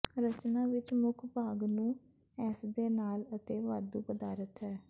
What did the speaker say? ਰਚਨਾ ਵਿੱਚ ਮੁੱਖ ਭਾਗ ਨੂੰ ਨੂੰ ਇਸ ਦੇ ਨਾਲ ਅਤੇ ਵਾਧੂ ਪਦਾਰਥ ਹੈ